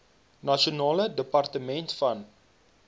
nasionale departement van